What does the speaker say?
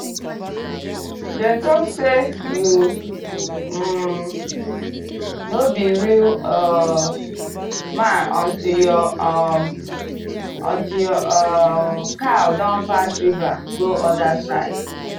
dem talk say you um no be real um man until your um until your um cow don pass river go other side.